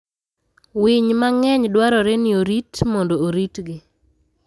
Winy mang'eny dwarore ni orit mondo oritgi.